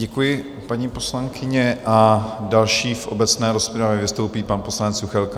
Děkuji, paní poslankyně, a další v obecné rozpravě vystoupí pan poslanec Juchelka.